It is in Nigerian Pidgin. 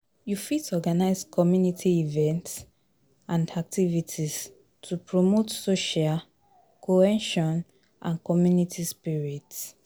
You fit organize community events and activities to promote social cohesion and community spirit.